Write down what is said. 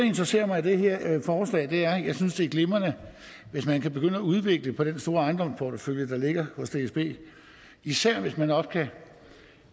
interesserer mig i det her forslag er at jeg synes det er glimrende hvis man kan begynde at udvikle på den store ejendomsportefølje der ligger hos dsb især hvis man også